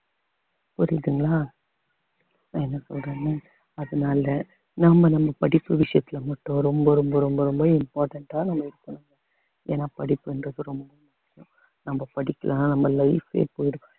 புரியுதுங்களா நான் என்ன சொல்றேன்னு அதனால நாம நம்ம படிப்பு விஷயத்துல மட்டும் ரொம்ப ரொம்ப ரொம்ப ரொம்ப important ஆ நம்ம இருக்கணும் ஏன்னா படிப்புன்றது ரொம்ப முக்கியம் நம்ம படிக்கலன்னா நம்ம life ஏ